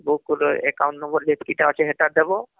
Passbook ରେ account number ଯେତକିତା ଅଛି ହେଟା ଦବ